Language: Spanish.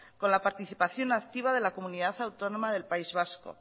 con la participación activa de la comunidad autónoma del país vasco